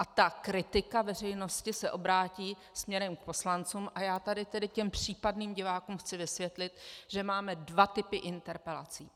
A ta kritika veřejnosti se obrátí směrem k poslancům, a já tady tedy těm případným divákům chci vysvětlit, že máme dva typy interpelací.